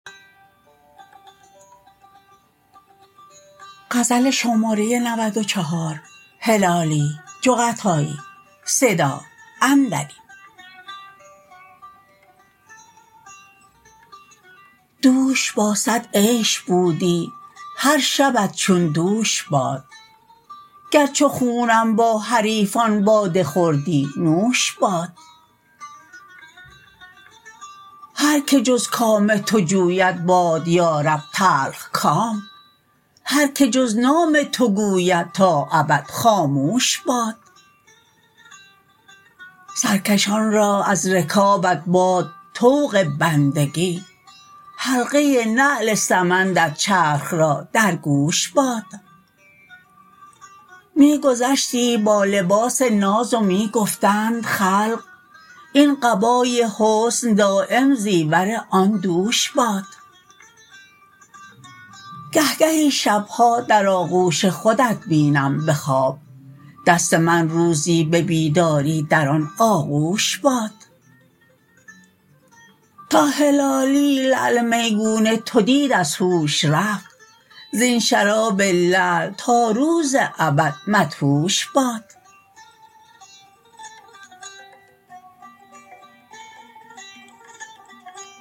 دوش با صد عیش بودی هر شبت چون دوش باد گر چو خونم با حریفان باده خوردی نوش باد هر که جز کام تو جوید باد یارب تلخ کام هر که جز نام تو گوید تا ابد خاموش باد سرکشان را از رکابت باد طوق بندگی حلقه نعل سمندت چرخ را در گوش باد می گذشتی با لباس ناز و می گفتند خلق این قبای حسن دایم زیور آن دوش باد گه گهی شبها در آغوش خودت بینم به خواب دست من روزی به بیداری در آن آغوش باد تا هلالی لعل میگون تو دید از هوش رفت زین شراب لعل تا روز ابد مدهوش باد